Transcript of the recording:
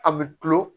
A bɛ tulo